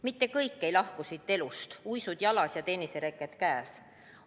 Mitte kõik ei lahku siit elust, uisud jalas ja tennisereket käes.